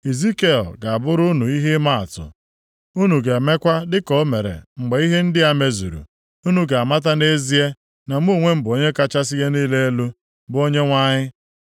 Izikiel ga-abụrụ unu ihe ịmaatụ. Unu ga-emekwa dịka o mere mgbe ihe ndị a mezuru. Unu ga-amata nʼezie na mụ onwe m bụ Onye kachasị ihe niile elu, bụ Onyenwe anyị.’